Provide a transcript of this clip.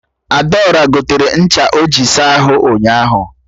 Adaora gotere ncha o ji asa ahụ ụnyaahụ